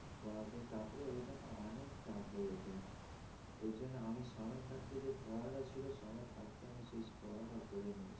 পড়াতে তারপরে ওইটা অনেক tough হয়ে যেতো। এইজন্য আমি সময় থাকতে যে পড়াটা ছিল সময় থাকতে আমি সেই পড়াটা করে নি।